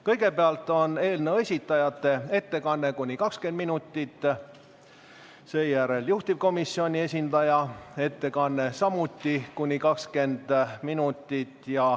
Kõigepealt on eelnõu esitajate ettekanne kuni 20 minutit, seejärel juhtivkomisjoni esindaja ettekanne samuti kuni 20 minutit.